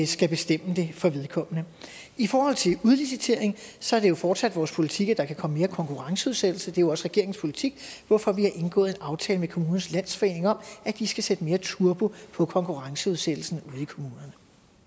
skal bestemme det for vedkommende i forhold til udlicitering så er det jo fortsat vores politik at der kan komme mere konkurrenceudsættelse det jo også regeringens politik hvorfor vi har indgået en aftale med kommunernes landsforening om at de skal sætte mere turbo på konkurrenceudsættelsen ud